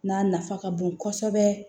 N'a nafa ka bon kosɛbɛ